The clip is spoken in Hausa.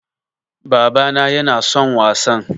Baba na yana son wasan